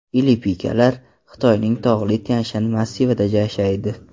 Ili Pika’lar Xitoyning tog‘li Tyanshan massivida yashaydi.